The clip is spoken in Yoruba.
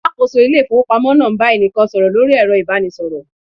Alakoso ile ifowopamo naa n ba enikan soro lori ero ibanisoro